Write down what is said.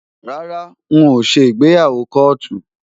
Rárá n ò ṣe ìgbéyàwó kóòtù.